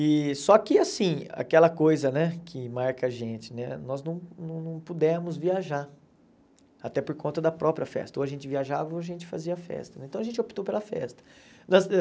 E só que assim, aquela coisa né que marca a gente, né nós não não não pudemos viajar, até por conta da própria festa, ou a gente viajava ou a gente fazia festa, então a gente optou pela festa. Nós